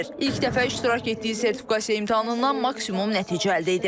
İlk dəfə iştirak etdiyi sertifikasiya imtahanından maksimum nəticə əldə edib.